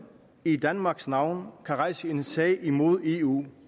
i danmarks navn kan rejse en sag imod eu